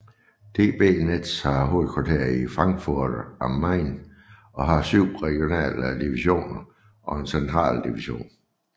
DB Netz har hovedkvarter i Frankfurt am Main og har 7 regionale divisioner og en central division